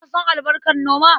Ka san albarkar noma?